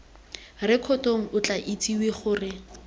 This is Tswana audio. rekotong o tla itsisiwe gore